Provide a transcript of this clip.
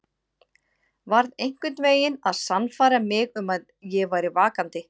Varð einhvern veginn að sannfæra mig um að ég væri vakandi.